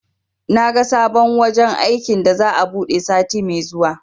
Naga sabon wajen aikin da za'a buɗe sati me zuwa